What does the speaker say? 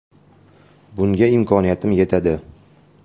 Bunga imkoniyatim yetadi.